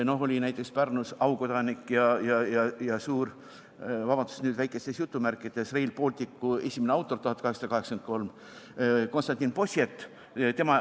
Oli näiteks Pärnus aukodanik ja Rail Balticu esimene autor, 1883, Konstantin Possiet.